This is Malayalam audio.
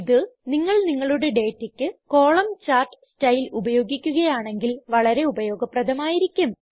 ഇത് നിങ്ങൾ നിങ്ങളുടെ ഡേറ്റയ്ക്ക് കോളംഞ്ചാർട്ട് സ്റ്റൈൽ ഉപയോഗിക്കുകയാണെങ്കിൽ വളരെ ഉപയോഗപ്രദമായിരിക്കും